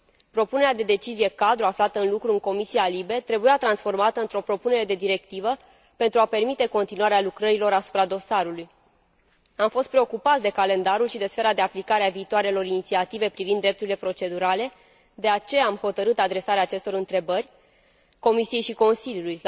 Propunerea de decizie cadru aflată în lucru în Comisia LIBE trebuia transformată într o propunere de directivă pentru a permite continuarea lucrărilor asupra dosarului. Am fost preocupați de calendarul și de sfera de aplicare a viitoarelor inițiative privind drepturile procedurale, de aceea am hotărât adresarea acestor întrebări Comisiei și Consiliului.